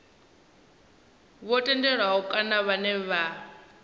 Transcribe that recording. vho tendelwaho kana vhane vha